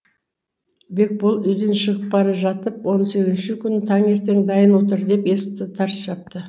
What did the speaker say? бекбол үйден шығып бара жатып он сегізінші күні таңертең дайын отыр деп есікті тарс жапты